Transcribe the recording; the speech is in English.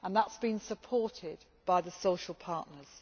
That has been supported by the social partners.